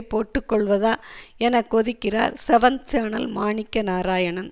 போட்டு கொள்வதா என கொதிக்கிறார் செவன்த் சேனல் மாணிக்க நாராயணன்